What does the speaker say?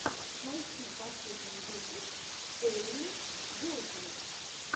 найти последний выпуск элли голдинг